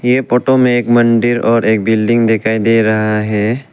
ये फोटो में एक मंदिर और एक बिल्डिंग दिखाई दे रहा है।